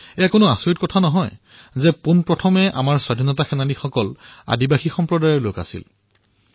এয়া আশ্বৰ্যৰ কথা নহয় যে আমাৰ স্বাধীনতা সেনানীসমূহৰ ভিতৰত সৰ্বপ্ৰথম সেনা এই আদিবাসী লোকসকলৰেই আছিল